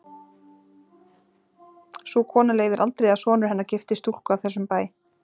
Sú kona leyfir aldrei að sonur hennar giftist stúlku af þessum bæ.